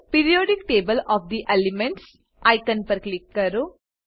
periodic table of the elements icon પર click કરો